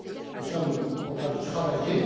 Nous sommes en train d'y travailler.